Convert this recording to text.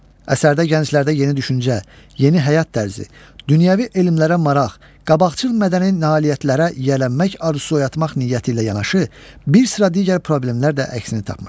Əsərdə gənclərdə yeni düşüncə, yeni həyat tərzi, dünyəvi elmlərə maraq, qabaqcıl mədəni nailiyyətlərə yiyələnmək arzusu oyatmaq niyyəti ilə yanaşı, bir sıra digər problemlər də əksini tapmışdır.